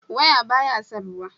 waya ba ya san ruwa